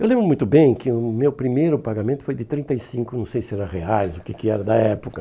Eu lembro muito bem que o meu primeiro pagamento foi de trinta e cinco, não sei se era reais, o que que era da época.